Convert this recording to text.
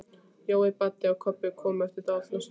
Jói, Baddi og Kobbi komu eftir dálitla stund.